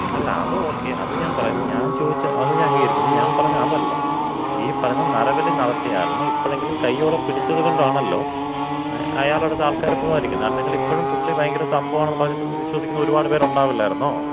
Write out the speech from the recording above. അല്ല, അത് ഓക്കേ. അത് ഞാൻ പറഞ്ഞത് ഞാന്‍ ചോദിച്ചത്, അത് ഞാൻ അംഗീകരിക്കുന്നു. ഞാമ്പറഞ്ഞത് അതല്ല. ഈ പറഞ്ഞ നരബലി നടത്തിയ ആളിനെ ഇപ്പോഴെങ്കിലും കയ്യോടെ പിടിച്ചത് കൊണ്ടാണല്ലോ, അയാളടുത്ത് ആൾക്കാര് പോകാതിരിക്കുന്നത്. അല്ലെങ്കില് ഇപ്പഴും പുള്ളി ഭയങ്കര സംഭവമാണെന്ന് പറഞ്ഞിട്ട് വിശ്വസിക്കുന്ന ഒരുപാട് പേരുണ്ടാവില്ലാരുന്നൊ?